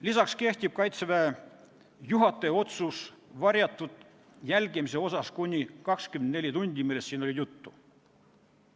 Lisaks kehtib Kaitseväe juhataja otsus varjatud jälgimise kohta kuni 24 tundi, millest siin oli juttu.